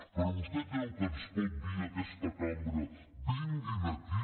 però vostè creu que ens pot dir a aquesta cambra vinguin aquí